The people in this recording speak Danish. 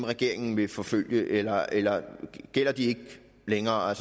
regeringen vil forfølge eller eller gælder de ikke længere